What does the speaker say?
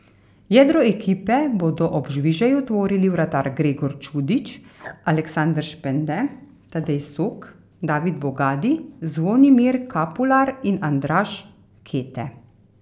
Jedro ekipe bodo ob Žvižeju tvorili vratar Gregor Čudič, Aleksander Špende, Tadej Sok, David Bogadi, Zvonimir Kapular in Andraž Kete.